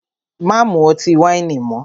Má mú ọtí wáìnì mọ́!